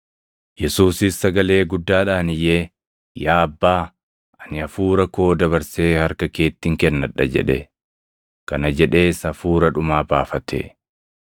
Yesuusis sagalee guddaadhaan iyyee, “Yaa Abbaa, ani hafuura koo dabarsee harka keettin kennadha” jedhe. Kana jedhees hafuura dhumaa baafate.